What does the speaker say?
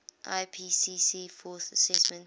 ipcc fourth assessment